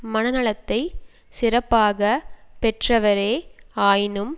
மன நலத்தை சிறப்பாக பெற்றவரே ஆயினும்